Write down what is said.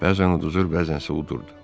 Bəzən uduzur, bəzənsə udurdu.